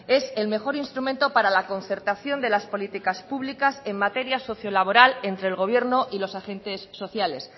es el mejor instrumento para la concertación de las policías públicas en materia socio laboral entre el gobierno y los agentes sociales